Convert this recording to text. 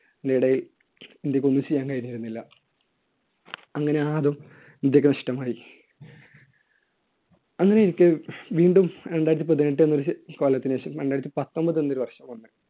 നിടയിൽ ഇന്ത്യയ്‌ക്കൊന്നും ചെയ്യാൻ കഴിഞ്ഞിരുന്നില്ല. അങ്ങനെ ആ അതും ഇന്ത്യയ്ക്ക് നഷ്ടമായി. അങ്ങനെ ഇരിക്കെ വീണ്ടും രണ്ടായിരത്തി പതിനെട്ട് കാലത്തിനുശേഷം രണ്ടായിരത്തി പത്തൊൻപത് എന്നൊരു വേഷം